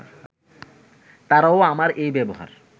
তারাও আমার এই ব্যবহার